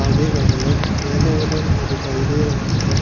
आगे का colour yellow colour दिखाई दे रहा है।